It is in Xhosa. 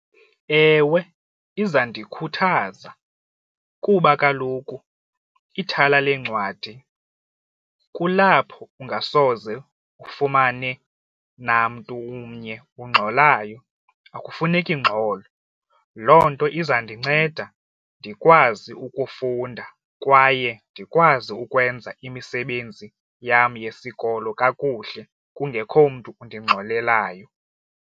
Ewe, izandikhuthaza kuba kaloku ithala leencwadi kulapho ungasoze ufumane namntu umnye ungxolayo akufuneki ngxolo, loo nto izandinceda ndikwazi ukufunda kwaye ndikwazi ukwenza imisebenzi yam yesikolo kakuhle kungekho mntu undingangxolelayo.